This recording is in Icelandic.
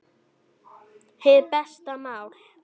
Hið besta mál